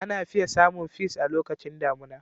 Ana fiye samun peas a lokacin damuna.